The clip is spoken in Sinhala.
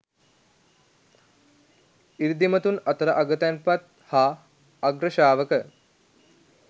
ඍද්ධිමතුන් අතර අගතැන් පත් හා අග්‍රශ්‍රාවක